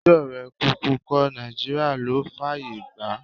Ẹjọ́ rẹ̀ kúkú kọ́, Nàìjíríà ló fáàyè gbà á.